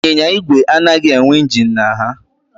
Ịnyịnya ígwè anaghị enwe injin na ha